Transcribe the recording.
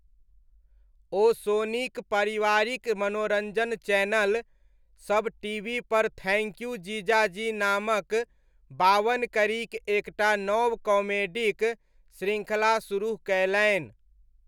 ओ सोनीक पारिवारिक मनोरञ्जन चैनल, सब टीवीपर थैङ्क यू जीजाजी नामक बावन कड़ीक एकटा नव कॉमेडीक श्रृङ्खला सुरुह कयलनि।